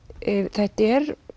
þetta er